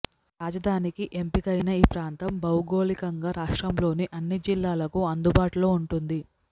రాజధానికి ఎంపిక అయిన ఈ ప్రాంతం భౌగోళికంగా రాష్ట్రంలోని అన్ని జిల్లాలకు అందుబాటులో ఉంటుంది